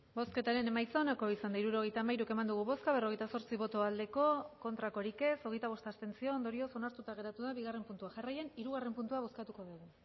hirurogeita hamairu eman dugu bozka berrogeita zortzi bai hogeita bost abstentzio ondorioz onartuta geratu da bigarrena puntua jarraian hirugarrena puntua bozkatuko dugu